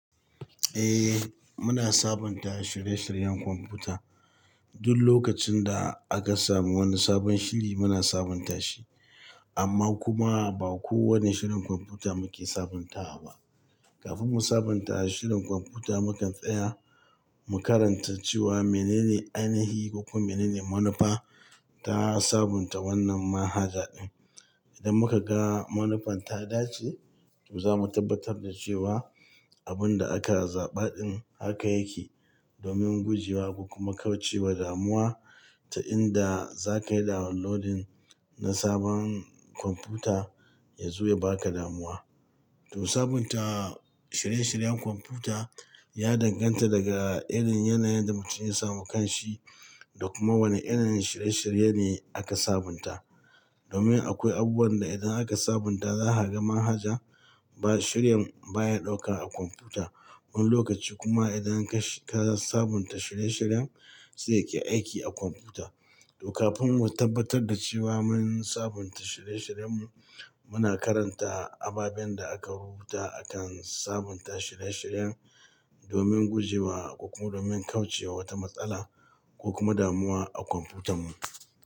Eh, muna sabunta shirye-shiryen kwamfuta. Duk lokacin da aka samu wani sabon shiri muna sabunta shi. Amma kuma ba kowane shirin kwamfuta muke sabuntawa ba. Kafin mu sabunta shirin kwamfuta, mukan tsaya mu karanta cewa menene ainihi ko kuma menene manufa ta sabunta wannan manhaja. Idan muka ga manufan ta dace, to zamu tabbatar da cewa abun da aka zaɓa din haka yake domin guje wa, ko kuma kauce wa damuwa ta inda za ka yi dowunlodin na sabon kwamfuta ya zo ya baka damuwa. To sabunta shirye-shiryen kwamfuta ya danganta daga irin yanayin da mutum ya samu kan shi da kuma wane irin shirye-shirye ne aka sabunta. Domin akwai abubuwan da idan aka sabunta za ha ga manhaja ba shiryen baya ɗauka a kwamfuta wani lokaci kuma idan ka, ka sabunta shirye-shiryen sai ya ke aiki a kwamfuta. To kafin mu tabbatar da cewa mun sabunta shirye-shiryen mu, muna karanta ababen da aka rubuta akan sabunta shirye-shiryen domin guje wa kuma domin kauce wa wata matsala ko kuma damuwa a kwamfutan mu.